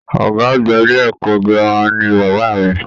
Ọgá àgbà ilé ẹ̀kọ́ gírámà ní bàbá mí.